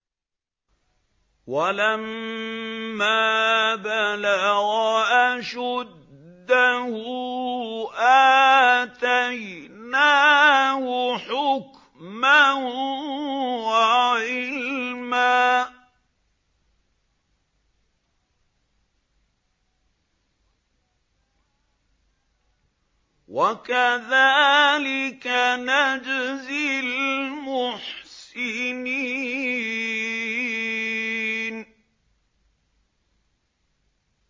وَلَمَّا بَلَغَ أَشُدَّهُ آتَيْنَاهُ حُكْمًا وَعِلْمًا ۚ وَكَذَٰلِكَ نَجْزِي الْمُحْسِنِينَ